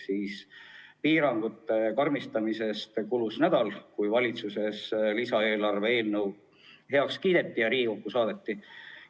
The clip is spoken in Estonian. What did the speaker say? Seega, piirangute karmistamisest kulus nädal, et valitsuses lisaeelarve eelnõu heaks kiidetaks ja Riigikokku saadetaks.